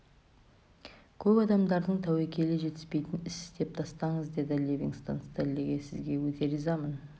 көп адамдардың тәуекелі жетпейтін іс істеп тастадыңыз деді ливингстон стенлиге сізге өте ризамын